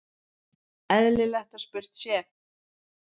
eðlilegt að spurt sé